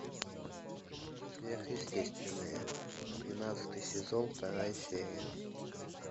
сверхъестественное тринадцатый сезон вторая серия